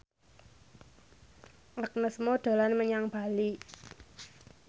Agnes Mo dolan menyang Bali